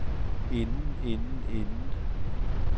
inden inden inden